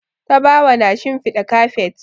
Tabawa na shinfiɗa kafet.